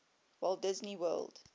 walt disney world